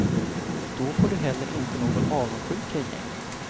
Då får du heller inte någon avundsjuka i gänget.